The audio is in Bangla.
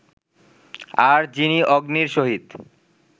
আর যিনি অগ্নির সহিত